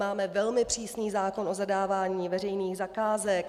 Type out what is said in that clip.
Máme velmi přísný zákon o zadávání veřejných zakázek.